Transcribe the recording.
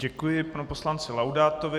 Děkuji panu poslanci Laudátovi.